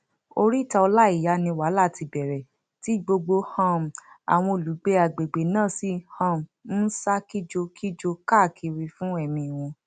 oríta ọláíyá ni wàhálà ti bẹrẹ tí gbogbo um àwọn olùgbé àgbègbè náà sì um ń sá kìjokìjo káàkiri fún ẹmí wọn